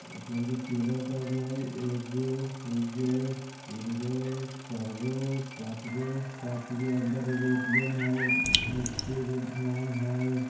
ए_टी_एम के पिलर कै गो हय ए गो दू गो तीन गो चार गो पांच गो पांच गो अंदर एगो ए_टी_एम हय नीचे एगो ड्राम हय।